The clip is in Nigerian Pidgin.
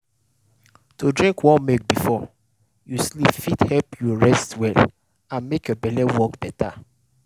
to drink warm milk before you sleep fit help you rest well and make your belle work better.